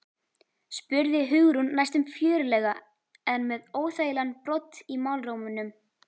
spurði Hugrún næstum fjörlega en með óþægilegan brodd í málrómnum.